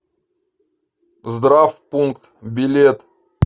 здравпункт билет